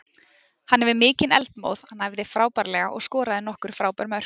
Hann hefur mikinn eldmóð, hann æfði frábærlega og skoraði nokkur frábær mörk.